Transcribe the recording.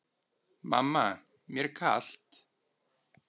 Mamma mér er kalt!